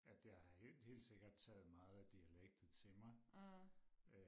at jeg har helt helt sikkert taget meget af dialektet til mig